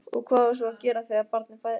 Og hvað á svo að gera þegar barnið fæðist?